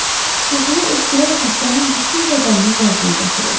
Xışıltılı öskürək xəstənin bütün bədənini lərzəyə gətirirdi.